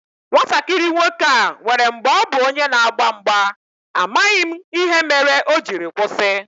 Nwatakịrị nwoke a nwèrè mgbè ọ bu onye n'agba mgba, amaghị m ihe mere o jiri kwụsị